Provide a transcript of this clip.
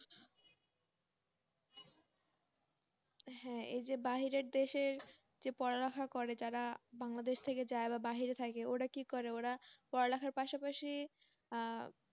হ্যাঁ। এই যে বাইরের দেশে যে পড়া লেখার করে তারা বাংলাদেশ থেকে যায় বা বাহিরে থাকে ওরা কি করে, ওরা পড়া লেখার পাশাপাশি আহ